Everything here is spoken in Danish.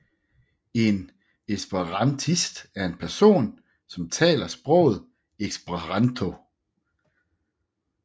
En esperantist er en person som taler sproget esperanto